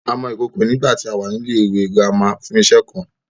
A mọ ìkòkò nígbàtí a wà ní ilẹ́ ìwé girama fún iṣe kan